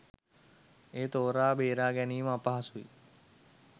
මෙය තෝරා බේරා ගැනීම අපහසුයි.